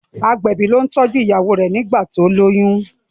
agbẹbi ló tọjú ìyàwó rẹ nigbati o loyún.